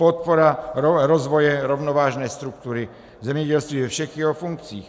Podpora rozvoje rovnovážné struktury zemědělství ve všech jeho funkcích.